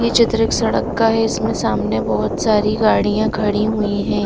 ये चित्र एक सड़क का है इसमें सामने बहुत सारी गाड़ियां खड़ी हुई ह--